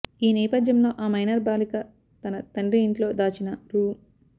ఈ నేపథ్యంలో ఆ మైనర్ బాలిక తన తండ్రి ఇంట్లో దాచిన రూ